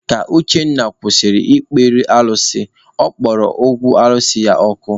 Ka Uchenna kwụsịrị ịkpere alụsị, ọ kpọrọ okwu alụsị ya ọkụ.